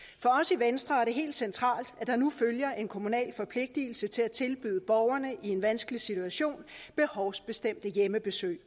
i venstre er det helt centralt at der nu følger en kommunal forpligtigelse til at tilbyde borgere i en vanskelig situation behovsbestemte hjemmebesøg